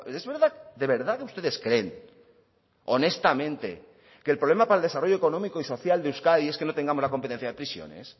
es verdad de verdad que ustedes creen honestamente que el problema para el desarrollo económico y social de euskadi es que no tengamos la competencia de prisiones